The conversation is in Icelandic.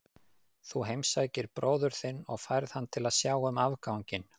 Þú heimsækir bróður þinn og færð hann til að sjá um afganginn.